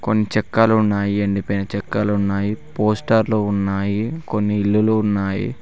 కొన్ని చెక్కాలున్నాయి ఎండిపోయిన చెక్కాలున్నాయి పోస్టర్లు ఉన్నాయి కొన్ని ఇల్లులు ఉన్నాయి.